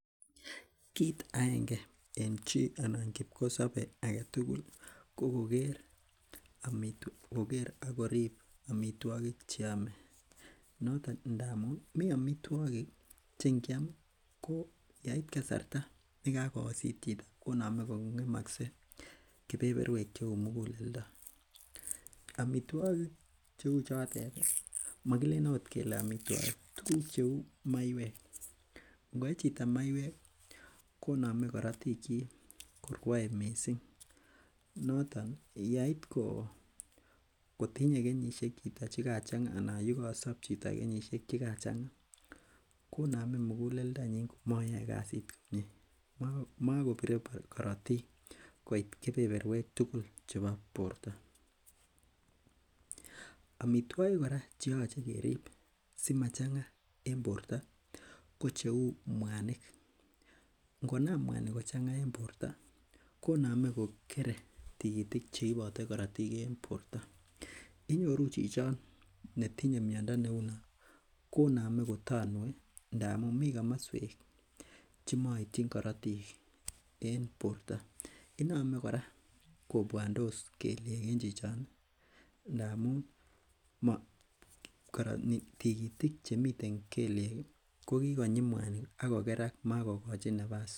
Kit agenge en chii anan kipkosobe aketugul ko koker ak korip amitwogik cheome noton ndamun mii amitwogik che ngiam ko yeit kasarta ne kayosit chito konome kong'emose kebeberwek cheu muguleldo amitwogik cheu chotet mokilenen ot amitwogik tuguk cheu maiek ngoe chito maiek konome korotik kyik korwoe missing noton yeit ko kotinye kenyisiek chito chekachang'a ana yekosop chito kenyisiek chekachang'a konome muguleldonyin komoyoe kasit komie. Mokobire korotik koit kebeberwek tugul chebo borto, amitwogik kora cheoche kerib simachang'a en borto ko cheu mwanik ngonam mwanik kochang'a en borto konome kokere tikitik cheibe korotik en borto. Inyoru chichon netinye miondo neunon konome kotonue ndamun mii komoswek chemoityin korotik en borto inome kora kobwondos kelyek en chichon ih ndamun tikitik chemiten kelyek ih kokikonyik mwanik akokerak makokochin nafas